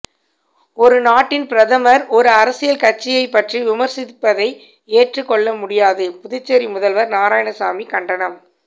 ஒரு நாட்டின் பிரதமர் ஒரு அரசியல் கட்சியை பற்றி விமர்சிப்பதை ஏற்றுக் கொள்ளமுடியாது புதுச்சேரி முதல்வர் நாராயணசாமி கண்டனம்